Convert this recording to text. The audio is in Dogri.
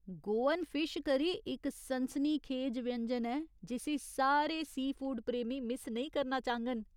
गोअन फिश करी इक सनसनीखेज व्यंजन ऐ जिस्सी सारे सीफूड प्रेमी मिस्स नेईं करना चाह्ङन।